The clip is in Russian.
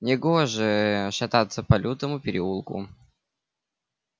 негоже ээ шататься по лютому переулку